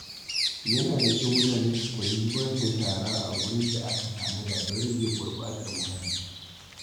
Yana da kyau mutane su koyi zubar da shara a gurin da aka tanada don rage gurɓatar muhalli.